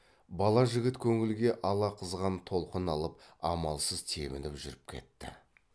бала жігіт көңілге ала қызған толқын алып амалсыз тебініп жүріп кетті